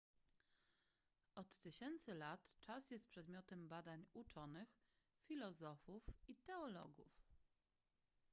od tysięcy lat czas jest przedmiotem badań uczonych filozofów i teologów